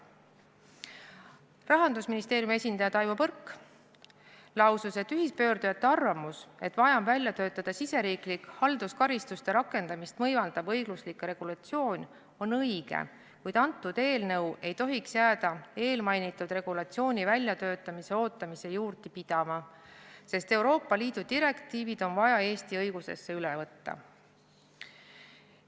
Rahandusministeeriumi esindaja Taivo Põrk lausus, et ühispöördujate arvamus, et vaja on välja töötada riigisisene halduskaristuste rakendamist võimaldav õiguslik regulatsioon, on õige, kuid eelnõu ei tohiks jääda eelmainitud regulatsiooni väljatöötamise ootamise juurde pidama, sest Euroopa Liidu direktiivid on vaja Eesti õigusesse üle võtta.